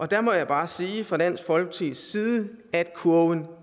der må jeg bare sige fra dansk folkepartis side at kurven